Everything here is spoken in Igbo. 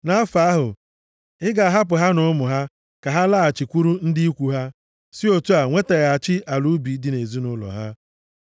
Nʼafọ ahụ, ị ga-ahapụ ha na ụmụ ha ka ha laghachikwuru ndị ikwu ha, si otu a nwetaghachi ala ubi dị nʼezinaụlọ ha.